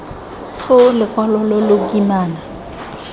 foo lokwalo lo lo kimana